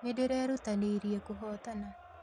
Nĩnderutanĩirie kũhotana